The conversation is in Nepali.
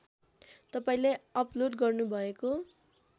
तपाईँले अपलोड गर्नुभएको